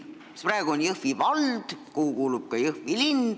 Praegu on Jõhvi vald, kuhu kuulub ka Jõhvi linn.